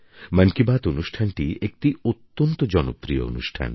মন কি বাত অনুষ্ঠানটি একটি অত্যন্ত জনপ্রিয় অনুষ্ঠান